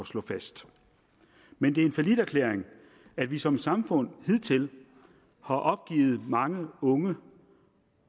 slå fast men det er en falliterklæring at vi som samfund hidtil har opgivet mange unge